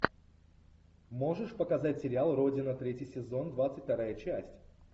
можешь показать сериал родина третий сезон двадцать вторая часть